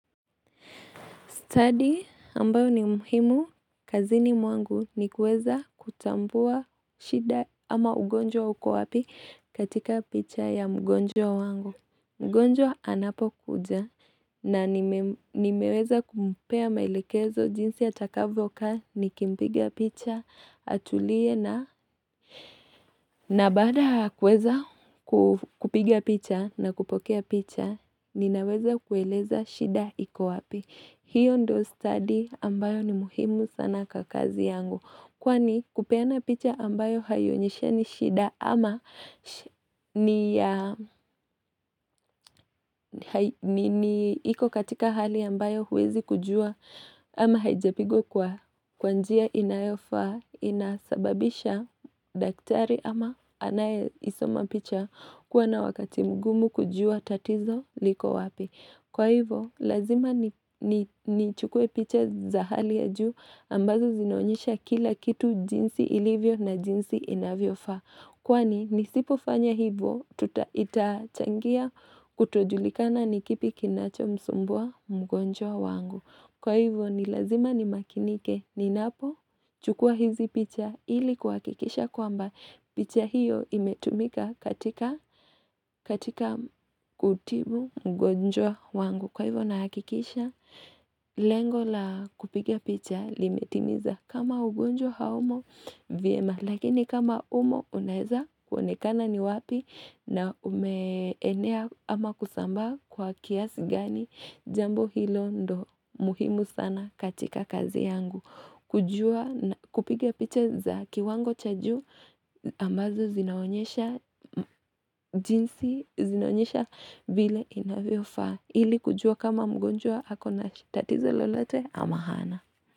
Stadi ambayo ni muhimu, kazini mwangu ni kueza kutambua shida ama ugonjwa uko wapi katika picha ya mgonjwa wangu. Mgonjwa anapokuja na nimeweza kumpea maelekezo jinsi atakavyokaa nikimpiga picha atulie na na baada ya kueza kupiga picha na kupokea picha ninaweza kueleza shida iko wapi. Hiyo ndio stadi ambayo ni muhimu sana kwa kazi yangu. Kwani kupeana picha ambayo haionyeshani shida ama ni iko katika hali ambayo huwezi kujua ama haijapigwa kwa kwa njia inayofaa, inasababisha daktari ama anayeisoma picha kuwa na wakati mgumu kujua tatizo liko wapi. Kwa hivyo, lazima nichukue picha za hali ya juu ambazo zinaonyesha kila kitu jinsi ilivyo na jinsi inavyofaa. Kwani, nisipofanya hivyo, tuta itachangia kutojulikana ni kipi kinachomsumbua mgonjwa wangu. Kwa hivyo ni lazima ni makinike ninapochukua hizi picha ili kuhakikisha kwamba picha hiyo imetumika katika kutibu mgonjwa wangu. Kwa hivyo na hakikisha, lengo la kupiga picha limetimiza kama ugonjwa haumo vyema. Lakini kama umo unaeza kuonekana ni wapi na umeenea ama kusamba kwa kiasi gani, jambo hilo ndio muhimu sana katika kazi yangu. Kujua na kupiga picha za kiwango cha juu ambazo zinaonyesha jinsi zinaonyesha vile inavyofaa. Ili kujua kama mgonjwa ako na tatizo lolote ama hana.